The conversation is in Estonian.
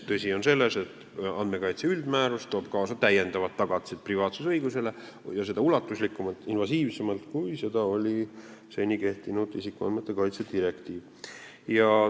Tõde on selles, et andmekaitse üldmäärus toob kaasa privaatsusõiguse lisatagatised ja ulatuslikumalt, invasiivsemalt, kui seda võimaldas seni kehtinud isikuandmete kaitse direktiiv.